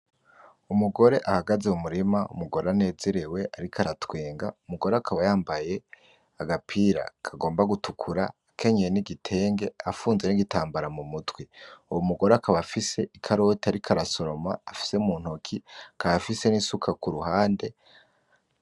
Umugore ahagaze mu murima umugore anezerewe ariko aratwenga umugore akaba yambaye agapira kagomba gutukura akenyeye n'igitenge afunze n'igitambara mu mutwe uwo mugore akaba afise ikaroti ariko arasoroma afise muntoki akaba afise n'isuka kuruhande.